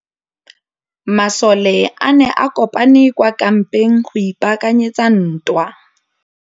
Masole a ne a kopane kwa kampeng go ipaakanyetsa ntwa.